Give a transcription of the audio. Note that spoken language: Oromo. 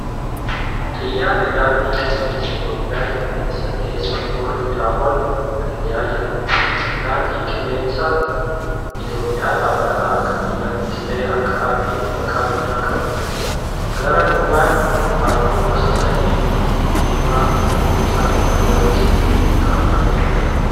Xiyyaarri daandii. qilleensa Itoophiyaa qilleensa keessa hurriidhaa ol balali'aa jira. Daandiin qilleensa Itoophiyaa dhaabbata akka biyyaattis ta'ee akka ardiitti maqaa guddaa qabuudhq. Garaa duubaan halluun gosa sadii diimaa, cuquliisa fi magariisni kaafamee jira.